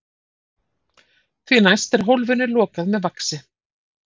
Því næst er hólfinu lokað með vaxi.